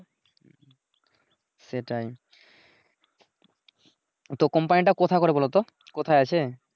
সেটাই তো কোম্পানিটা কোথায় পরে বলোতো কোথায় আছে?